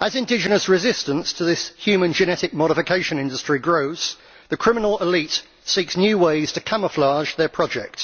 As indigenous resistance to this human genetic modification industry grows, the criminal elite seeks new ways to camouflage their project.